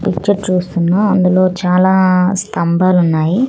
Picture చూస్తున్నా అందులో చాలా స్థంబాలున్నాయి.